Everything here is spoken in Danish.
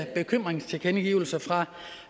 bekymringstilkendegivelser fra